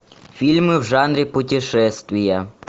фильмы в жанре путешествия